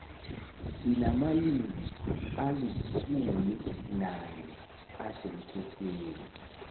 sinamalimi alisumi nanye asemthethweni